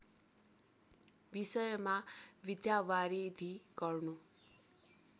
विषयमा विद्यावारिधि गर्नु